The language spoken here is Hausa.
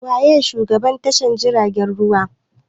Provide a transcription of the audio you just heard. Wa ye shugaban tashar jiragen ruwa?